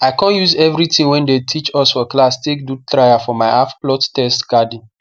i con use everything wey dem teach us for class take do trial for my halfplot test garden